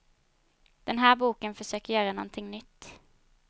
Den här boken försöker göra någonting nytt.